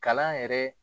Kalan yɛrɛ